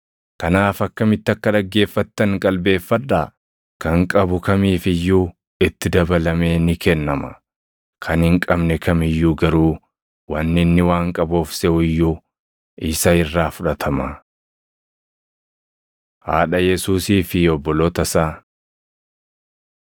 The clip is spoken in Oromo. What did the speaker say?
Kanaaf akkamitti akka dhaggeeffattan qalbeeffadhaa. Kan qabu kamiif iyyuu itti dabalamee ni kennama; kan hin qabne kam iyyuu garuu wanni inni waan qabu of seʼu iyyuu isa irraa fudhatama.” Haadha Yesuusii fi Obboloota Isaa 8:19‑21 kwf – Mat 12:46‑50; Mar 3:31‑35